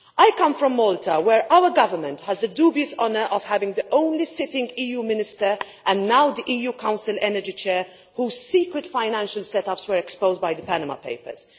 I come from Malta, where our Government has the dubious honour of having the only sitting EU Minister, and now the EU Energy Council Chair, whose secret financial set ups were exposed by the Panama Papers.